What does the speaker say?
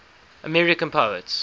american poets